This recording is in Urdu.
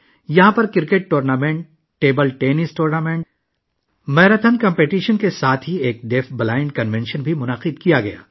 یہاں cricket tournament, table tennis tournament, marathon مقابلے کے ساتھ ساتھ ایک بہرے اور نابینا افراد کے کنونشن کا بھی انعقاد کیا گیا